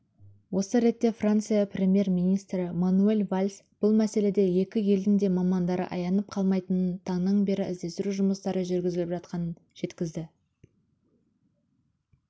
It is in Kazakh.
осы ретте франция премьер-министрі мануэль вальс бұл мәселеде екі елдің де мамандары аянып қалмайтынын таңнан бері іздестіру жұмыстары жүргізіліп жатқанын жеткізді